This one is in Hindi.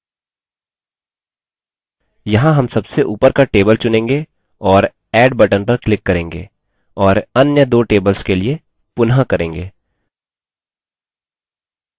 यहाँ हम सबसे ऊपर का table चुनेंगे और add button पर click करेंगे और अन्य दो tables के लिए पुनः करेंगे